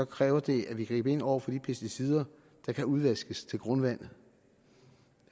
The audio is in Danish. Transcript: kræver det at vi griber ind over for de pesticider der kan udvaskes til grundvandet